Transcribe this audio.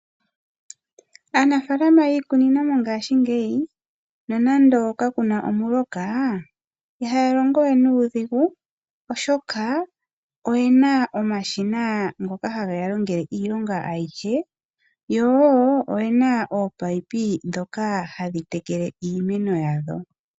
Aanafalama yiikunino oyendji mongashingeyi, nonando kakuna omuloka, ihaya longo we nuudhigu, oshoka oyena omashina ngoka hageya longele iilonga ayihe, yo oyena wo ominino ndhono hadhi tekele iimeno yawo.